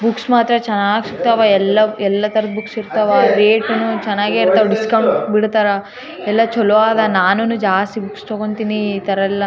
Books ಮಾತ್ರ ಚೆನ್ನಾಗಿ ಸಿಗ್ತಾವ ಎಲ್ಲ ಎಲ್ಲ ತರದ ಬುಕ್ಸ್ ಸಿಗ್ತಾವ ರೇಟ್ ನು ಚೆನ್ನಾಗೆ ಡಿಸ್ಕೌಂಟ್ ಬಿಡ್ತಾರಾ ಎಲ್ಲ ಚಲೋ ಅದಾ ನಾನೂನೂ ಜಾಸ್ತಿ ಬುಕ್ಸ್ ತಗೋತೀನಿ ಈ ತರ ಎಲ್ಲ .